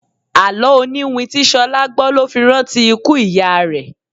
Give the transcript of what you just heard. Àló oniwin tí Ṣolá gbó ló fi rántí ikú ìyá rẹ.